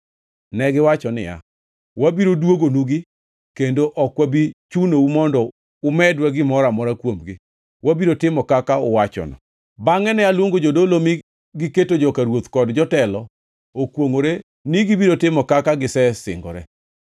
Negiwacho niya, “Wabiro duogonugi kendo ok wabi chunou mondo umedwa gimoro amora kuomgi. Wabiro timo kaka uwachono.” Bangʼe ne aluongo jodolo mi giketo joka ruoth kod jotelo okwongʼore ni gibiro timo kaka gisesingore.